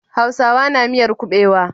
Hausawa na miyar kubewa.